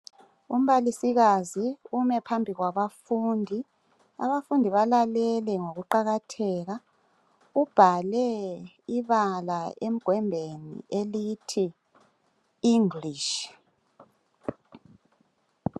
Umbalisikazi ume phambi kwabafundi, abafundi balalele ngokuqakatheka ubhale ibala emgwembeni elithi english.